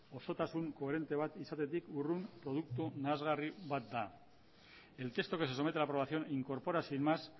osotasun koherente bat izatetik urrun produktu nahasgarri bat el texto que se somete a la aprobación incorpora sin más